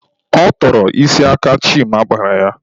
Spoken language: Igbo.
Ọ tọrọ isi aka Chima kpara ya.